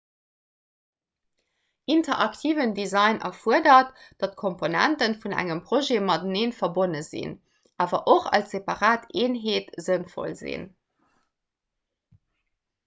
interaktiven design erfuerdert datt komponente vun engem projet matenee verbonne sinn awer och als separat eenheet sënnvoll sinn